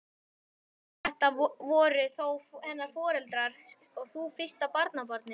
Þetta voru þó hennar foreldrar og þú fyrsta barnabarnið.